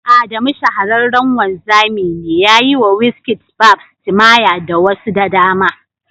Adamu shahararren wanzami ne, ya yi wa Wizkid barbs, timaya da wasu da dama